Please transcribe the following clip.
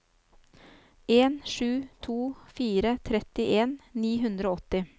en sju to fire trettien ni hundre og åtti